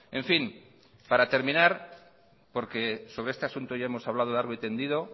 en fin para terminar porque sobre este asunto ya hemos hablado largo y tendido